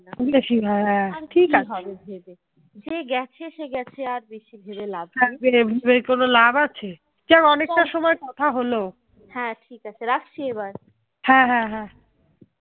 হ্যাঁ ঠিক আছে রাখছি এবার